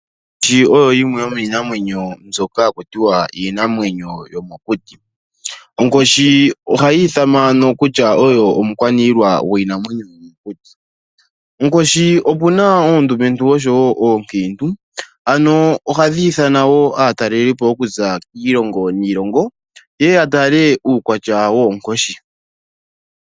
Onkoshi oyo yimwe yomiinamwenyo mbyoka haku tiwa iinamwenyo yo mokuti. Onkoshi ohayi ithanwa ano kutya oyo omukwaniilwa gwiinamwenyo yomokuti. Onkoshi opuna oondumentu oshowo oonkiintu ano ohadhi nana wo aatalelipo okuza kiilongo niilongo ye ye ya tale uukwatya woonkoshi.